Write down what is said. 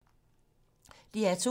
DR2